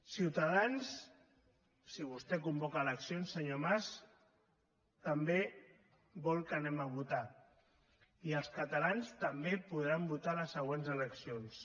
ciutadans si vostè convoca eleccions senyor mas també vol que anem a votar i els catalans també podran votar a les següents eleccions